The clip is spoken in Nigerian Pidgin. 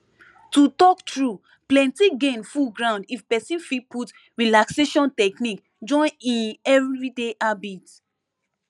to talk true plenty gain full ground if person fit put relaxation technique join im everyday habit